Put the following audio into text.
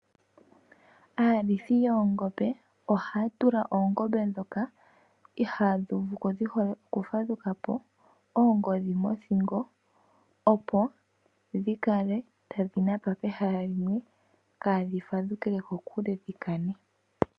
Aasita yoongombe ohaya tula oongombe ndhoka ihadhi uvuko dhi hole oku fadhukapo oongodhi mothingo opo dhi kale tadhi napa pehala limwe kadhi fadhukepo dhiye kokule dhi kane.